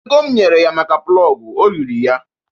Ego m nyere ya maka plọg, o riri ya